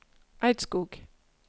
Eidskog